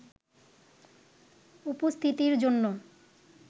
উপস্থিতির জন্য